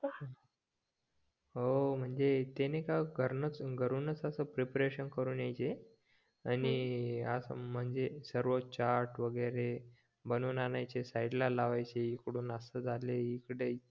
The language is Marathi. हो मनजे ते नाय का घरूनच प्रिपरेशन करून यायचे आणि असं अं म्णजे सर्व चाट वैगेरे बनवून आणायचे साईड ला लावायचे इकडून असं झालाय इकडे